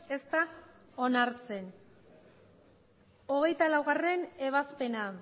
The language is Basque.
ez da onartzen hogeita laugarrena ebazpena